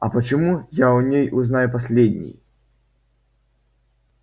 а почему я о ней узнаю последний